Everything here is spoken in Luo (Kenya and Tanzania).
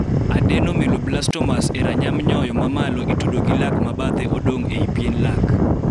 Adenoameloblastomas e ranyam nyoyo mamalo itudo gi lak ma bathe odong ei pien lak